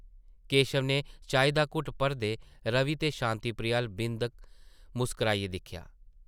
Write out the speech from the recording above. केशव नै चाही दा घुट्ट भरदे रवि ते शांति प्रिया अʼल्ल बिंद मुस्कराइयै दिक्खेआ ।